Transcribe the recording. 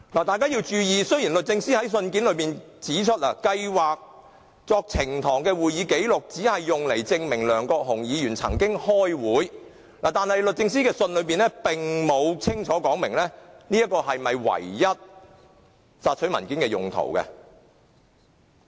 大家要注意，雖然律政司在信件指出，計劃作呈堂的會議紀錄只是用來證明梁國雄議員曾經開會，但律政司的信件中並沒有清楚指明這是否所索取文件的唯一用途。